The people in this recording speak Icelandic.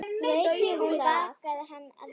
Hún bakaði, hann eldaði.